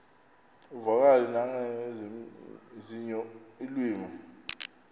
uvakale nangezinye iilwimi